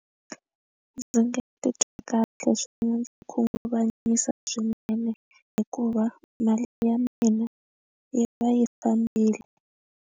Ndzi nge titwi kahle swinene ndzi khunguvanyisa swinene hikuva mali ya mina yi va yi fambile.